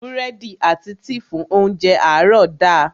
Búrẹ́dì àti tíì fún óńjẹ àárọ̀ da.